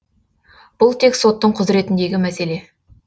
бұл тек соттың құзыретіндегі мәселе